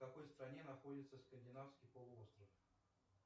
в какой стране находится скандинавский полуостров